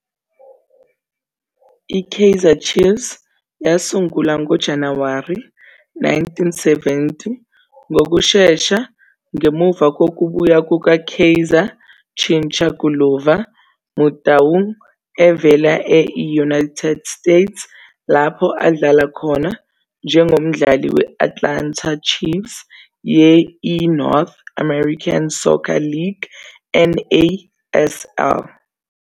I-Kaizer Chiefs yasungulwa ngoJanuwari 1970 ngokushesha ngemuva kokubuya kuka-Kaizer "Chincha Guluva" Motaung evela e-I-United States lapho adlala khona njengomdlali we-Atlanta Chiefs ye-I-North American Soccer League, NASL.